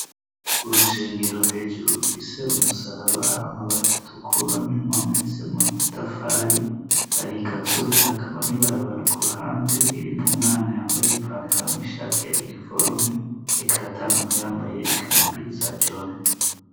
Urushengero hejuru rufise umusaraba hama batatu kura n'impome z'itafari hari igazo hakaba n'ibarabara ku ruhande ririmwo umwana yambaye ipantaro n'ishati ya iniforume ariko aratambuka yambaye ikamambiri za jone.